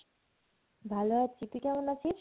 ভালো আছি, তুই কেমন আছিস?